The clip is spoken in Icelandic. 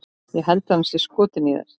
Ég held að hann sé skotinn í þér